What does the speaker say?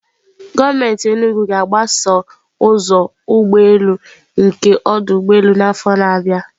Gọọmenti Enugwu ga-agbasa ụzọ ụgbọ elu nke ọdụ ụgbọ elu n'afọ na-abịa.